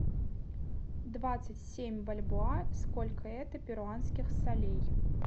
двадцать семь бальбоа сколько это перуанских солей